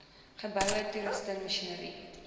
geboue toerusting masjinerie